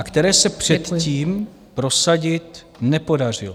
- a které se předtím prosadit nepodařilo.